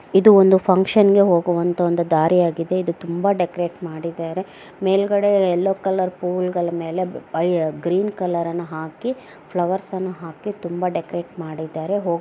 ಇದು ಒಂದು ಫೌಂಕ್ಷನ್ ಗೆ ಹೋಗುವಂತಹ ಒಂದು ದಾರಿಯಾಗಿದೆ ಇದು ತುಂಬಾ ಡೆಕೋರಟ್ ಮಾಡಿದ್ದಾರೆ ಮೇಲ್ಗಡೆ ಯಲ್ಲೋ ಕಲರ್ ಪೂಲ್ಗಳ ಮೇಲೆ ಆಯ್ ಗ್ರೀನ್ ಕಲರ್ ನ ಹಾಕಿ ಫ್ಲವರ್ಸ್ನ ಹಾಕಿ ತುಂಬಾ ಡೆಕೋರಟ್ ಮಾಡಿದ್ದಾರೆ ಹೊ --